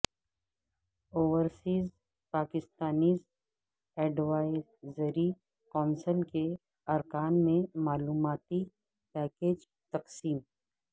overseas Pakistanis advisory council کے ارکان میں معلوماتی پیکیج تقسیم